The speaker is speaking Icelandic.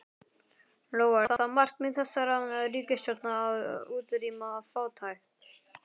Lóa: Er það markmið þessarar ríkisstjórnar að útrýma fátækt?